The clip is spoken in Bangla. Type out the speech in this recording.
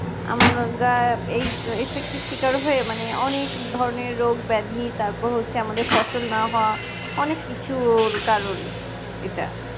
আমরা যা এই effect এর শিকার হয়ে মানে অনেক ধরনের রোগ ব্যাধি তারপর হচ্ছে আমাদের ফসল না হওয়া অনেক কিছুর কারণ এটা